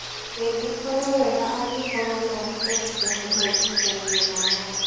ĩngĩkorwo wega angĩkorwo no hote gùkũhe maĩgwithanio ma watho